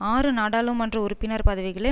ஆறு நாடாளுமன்ற உறுப்பினர் பதவிகளை